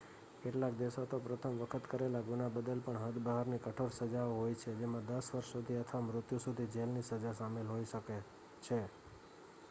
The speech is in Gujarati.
કેટલાક દેશો માં પ્રથમ વખત કરેલ ગુના બદલ પણ હદ બહારની કઠોર સજાઓ હોય છે જેમાં 10 વર્ષ સુધી અથવા મૃત્યુ સુધી જેલ ની સજા સામેલ હોય શકે છે